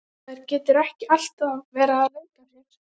Maður getur ekki alltaf verið að leika sér.